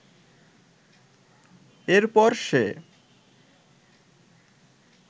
এরপর সে